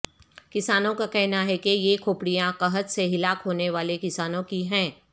کسانوں کا کہنا ہے کہ یہ کھوپڑیاں قحط سے ہلاک ہونے والے کسانوں کی ہیں